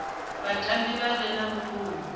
vhatambi vha re na vhukoni